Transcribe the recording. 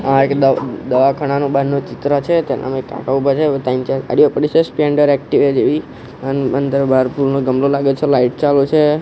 આ એક દવા દવાખાનાનું બારનું ચિત્ર છે તેનામાં એક કાકા ઉભા છે ત્રણ ચાર ગાડીઓ પડી છે સ્પ્લેન્ડર એકટીવા જેવી અન અંદર બાર ફૂલનો ગમલો લાગે છે લાઈટ ચાલુ છે.